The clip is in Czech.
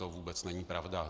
To vůbec není pravda.